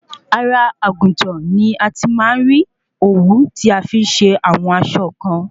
Ara àgùntàn ni a ti má ń rí òwú tí a fi ń se àwọn aṣọ kan